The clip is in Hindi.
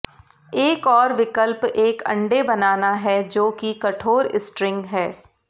एक और विकल्प एक अंडे बनाना है जो कि कठोर स्ट्रिंग है